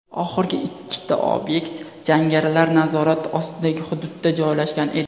Oxirgi ikkita obyekt jangarilar nazorati ostidagi hududda joylashgan edi.